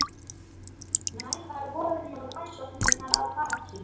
Nægar voru nú rannsóknirnar að baki.